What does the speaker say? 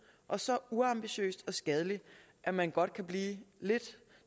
og så uambitiøst og skadeligt at man godt kan blive lidt